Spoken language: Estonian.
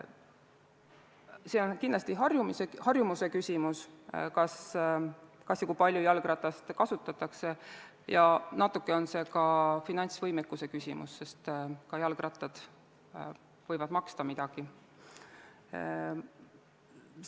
See on kindlasti harjumuse küsimus, kas ja kui palju jalgratast kasutatakse, ja natuke on see ka finantsvõimekuse küsimus, sest ka jalgrattad võivad midagi maksta.